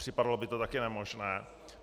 Připadalo by to také nemožné.